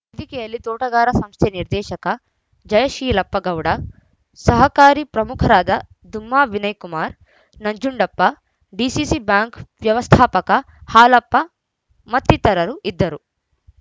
ವೇದಿಕೆಯಲ್ಲಿ ತೋಟಗಾರ್‍ಸ್ ಸಂಸ್ಥೆ ನಿರ್ದೇಶಕ ಜಯಶೀಲಪ್ಪ ಗೌಡ ಸಹಕಾರಿ ಪ್ರಮುಖರಾದ ದುಮ್ಮಾ ವಿನಯ ಕುಮಾರ ನಂಜುಂಡಪ್ಪ ಡಿಸಿಸಿ ಬ್ಯಾಂಕ್‌ ವ್ಯವಸ್ಥಾಪಕ ಹಾಲಪ್ಪ ಮತ್ತಿತರರು ಇದ್ದರು